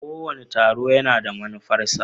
Kowane taro yana da manufarsa.